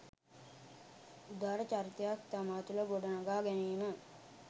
උදාර චරිතයක් තමා තුළ ගොඩනඟා ගැනීම